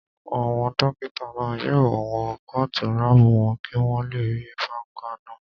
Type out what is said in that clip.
Àwọn dókítà náà yóò wọ kóòtù láàbù wọn kí wọ́n lè rí bákannáà